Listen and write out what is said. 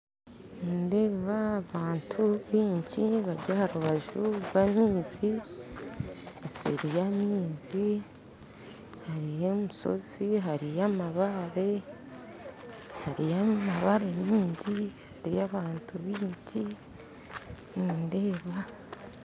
Nindeeba abantu baingi bari harubaju rwa maizi nseri ya maizi hariyo emisozi hariyo amabare hariyo amabare maingi hariyo abantu baingi nindeeba